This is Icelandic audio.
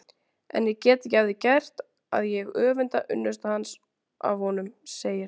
En ég get ekki að því gert að ég öfunda unnustu hans af honum, segir